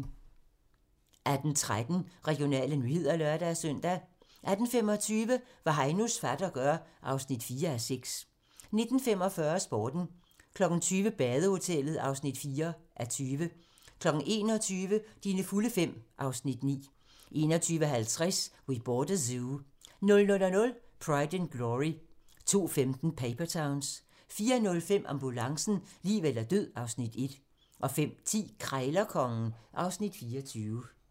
18:13: Regionale nyheder (lør-søn) 18:25: Hvad Heinos fatter gør (4:6) 19:45: Sporten 20:00: Badehotellet (4:20) 21:00: Dine fulde fem (Afs. 9) 21:50: We Bought a Zoo 00:00: Pride and Glory 02:15: Paper Towns 04:05: Ambulancen - liv eller død (Afs. 1) 05:10: Krejlerkongen (Afs. 24)